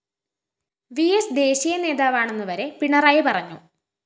VS ദേശീയ നേതാവാണെന്നുവരെ പിണറായി പറഞ്ഞു